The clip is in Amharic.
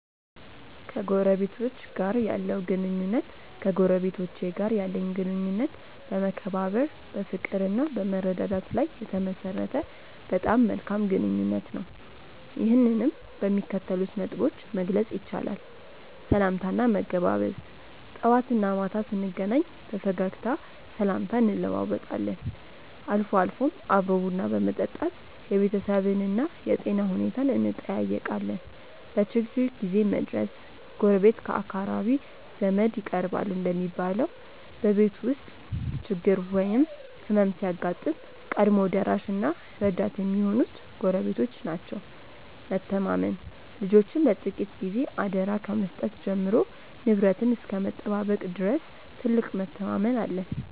ከጎረቤቶች ጋር ያለው ግንኙነት ከጎረቤቶቼ ጋር ያለኝ ግንኙነት በመከባበር፣ በፍቅርና በመረዳዳት ላይ የተመሠረተ በጣም መልካም ግንኙነት ነው። ይህንንም በሚከተሉት ነጥቦች መግለጽ ይቻላል፦ .ሰላምታና መገባበዝ፦ ጠዋትና ማታ ስንገናኝ በፈገግታ ሰላምታ እንለዋወጣለን፤ አልፎ አልፎም አብሮ ቡና በመጠጣት የቤተሰብንና የጤና ሁኔታን እንጠያየቃለን። .በችግር ጊዜ መድረስ፦ ጎረቤት ከአካራቢ ዘመድ ይቀርባል እንደሚባለው፣ በቤት ውስጥ ችግር ወይም ሕመም ሲያጋጥም ቀድሞ ደራሽና ረዳት የሚሆኑት ጎረቤቶች ናቸው። .መተማመን፦ ልጆችን ለጥቂት ጊዜ አደራ ከመስጠት ጀምሮ ንብረትን እስከ መጠባበቅ ድረስ ትልቅ መተማመን አለን።